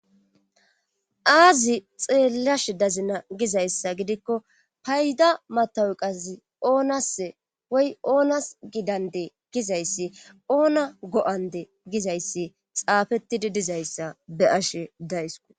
aazi xeellash dazina gizayssa gidikko payda matawu qazi oonase woy oonas gidande gizayssi oona go7ande gizayssi xaafettidi dizayssa be ashe daysku